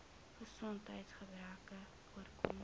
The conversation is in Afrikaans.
gesondheids gebreke oorkom